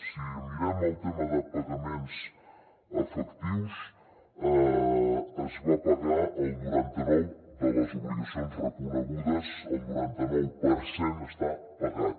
si mirem el tema de pagaments efectius es va pagar el noranta nou de les obligacions reconegudes el noranta nou per cent està pagat